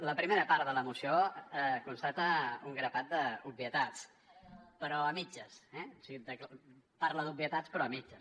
la primera part de la moció constata un grapat d’obvietats però a mitges eh o sigui parla d’obvietats però a mitges